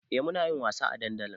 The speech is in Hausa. Eh munayin wasa a dandali